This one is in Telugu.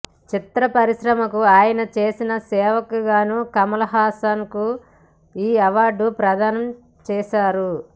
చిత్ర పరిశ్రమకు అయన చేసిన సేవకు గాను కమల్ హసన్ కు ఈ అవార్డు ప్రధానం చేశారు